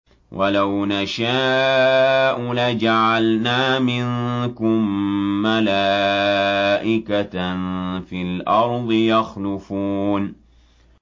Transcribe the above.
وَلَوْ نَشَاءُ لَجَعَلْنَا مِنكُم مَّلَائِكَةً فِي الْأَرْضِ يَخْلُفُونَ